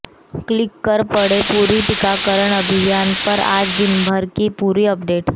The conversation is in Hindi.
क्लिक कर पढ़ें पूरी टीकाकरण अभियान पर आज दिनभर की पूरी अपडेट